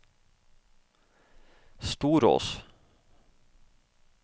Storås